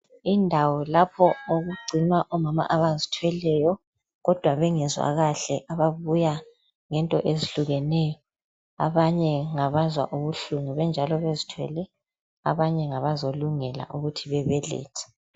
Indawo lapho okugcinwa omama abazithweleyo kodwa bengezwa kahle ababuya ngento ezihlukeneyo abanye ngabazwa ubuhlungu benjalo bezithwele abanye ngabazolungela ukuthi bebelethe.